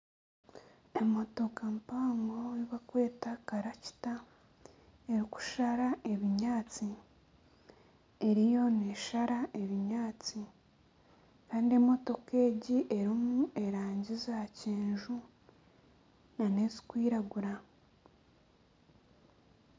Emotoka mpango ei barikweta karakita erikushara ebinyaatsi eriyo neeshara ebinyaaatsi kandi emotoka egi erimu erangi za kyenju n'ezikwiragura.